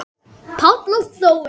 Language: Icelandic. Páll og Þórey.